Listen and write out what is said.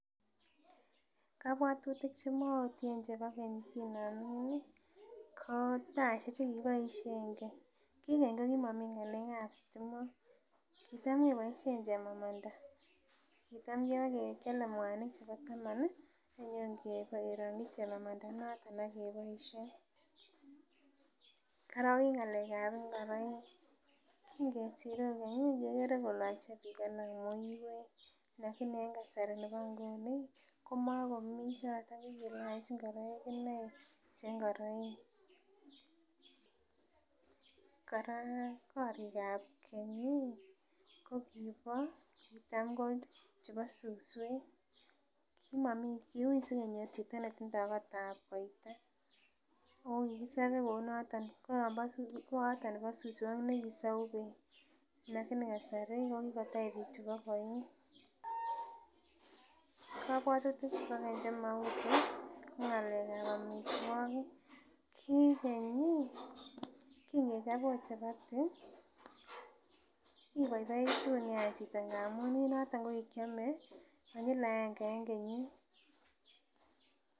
En kabuatutik chebo keny chemautien ko taishek chekikiboishien keny, ki keny kokimogimi ng'alekab stimok kitam keboisien chemamanda . Kitam kibakiale mwanik chebo taman ih akibakerangyi chemamanda inoton akiboisien. Kora kingesiru kora ih kekere kolache biik alak muiwek. Alakini en kasari bo nguni ih komago mii choto. Kilache ingoraik inei che ingoraik. Kora ki korikab keny ko kiba suswek, kiuu sigenyor chito netinye kotab koitar. Kikisabe kounoton lakini kokitech bik chebo koig. Kabuatutik chebo keny chemautu ko ng'alekab amituakik, ko ki keny ih kingechob oot chapati ibaibaitu nea chito. Ndamuun en noton kokikiame konyil aenge en kenyit.